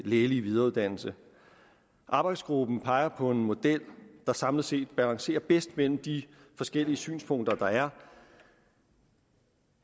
lægelige videreuddannelse arbejdsgruppen peger på en model der samlet set balancerer bedst mellem de forskellige synspunkter der er